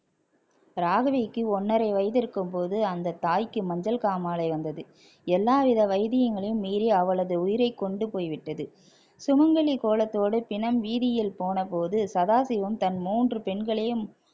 ராகினிக்கு ஒன்னரை வயசு இருக்கும்போது அந்த தாய்க்கு மஞ்சள் காமாலை வந்தது எல்லாவித வைத்தியங்களையும் மீறி அவளது உயிரைக்கொண்டு போய்விட்டது சுமங்கலி கோலத்தோடு பிணம் வீதியில் போனபோது சதாசிவம் தன் மூன்று பெண்களையும்